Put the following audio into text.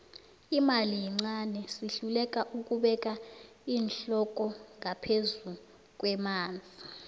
imali yincani sihluleka ukubeka iinhloko ngaphezu kwamanzi